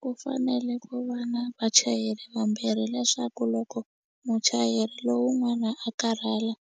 Ku fanele ku va na vachayeri vambirhi leswaku loko muchayeri lowun'wana a karhala